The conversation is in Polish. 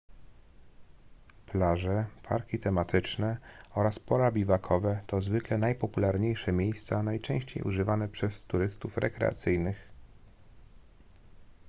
plaże parki tematyczne oraz pola biwakowe to zwykle najpopularniejsze miejsca najczęściej używane przez turystów rekreacyjnych